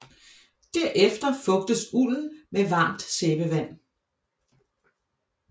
Derefter fugtes ulden med varmt sæbevand